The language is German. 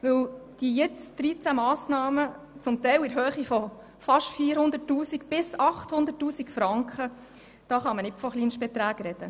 Bei den jetzt 13 Massnahmen, zum Teil in der Höhe von fast 400 000 bis 800 000 Franken, kann man nicht von Kleinstbeträgen sprechen.